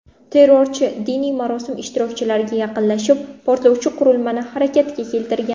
Terrorchi diniy marosim ishtirokchilariga yaqinlashib, portlovchi qurilmani harakatga keltirgan.